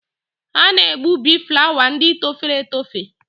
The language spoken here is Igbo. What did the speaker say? A na-egbubi flawa ndị torofere etofe.